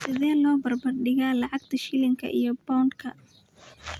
Sidee loo barbar dhigayaa lacagta shilinka iyo pound-ka?